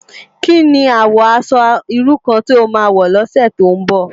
Ki ni àwò aṣò irú kàn ti ó má wò lòsè tó n bò?